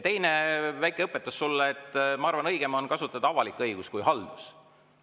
Teine väike õpetus sulle: ma arvan, et õigem on kasutada väljendit "avalik õigus", mitte "haldus".